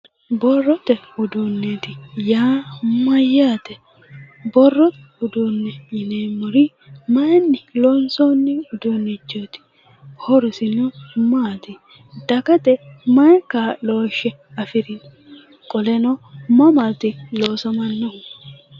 Borrote uduunne yaa mayyate? Borrote uduunne yineemmori mayinni looonsoonni uduunnichooti? Horosino maati? Dagate may kaa'looshshe afirino? Qoleno mamaati loosamannohu?